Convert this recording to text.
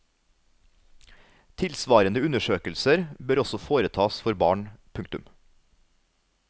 Tilsvarende undersøkelser bør også foretas for barn. punktum